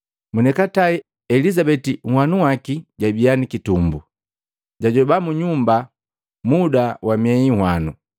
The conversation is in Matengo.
Monikatae Elizabeti nhwanu waki jabia nikitumbo. Jajoba mu nyumba muda wa mieyi nhwanu.